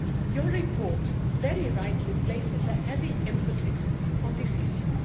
Your report very rightly places a heavy emphasis on this issue.